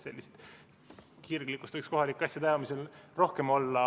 Sellist kirglikkust võiks kohalike asjade ajamisel rohkem olla.